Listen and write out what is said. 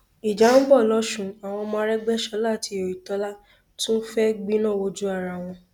ìjà ń bọ lọsùn àwọn ọmọ arégbèsọlá àti oyetola tún fẹẹ gbẹná wojú ara wọn